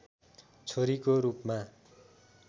छोरीको रूपमा